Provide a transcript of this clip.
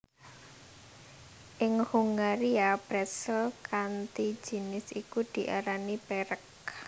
Ing Hungaria pretzel kanthi jinis iku diarani perec